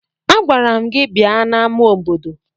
Agwara m gi bia n'ama obodo!